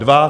Dva?